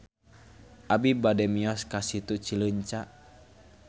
Abi bade mios ka Situ Cileunca